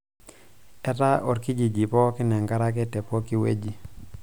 etaa olkijiji pooki enkare ake tepooki wueji